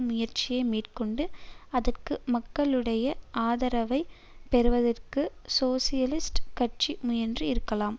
முயற்சியை மேற்கொண்டு அதற்கு மக்களுடைய ஆதரவை பெறுவதற்கு சோசியலிஸ்ட் கட்சி முயன்று இருக்கலாம்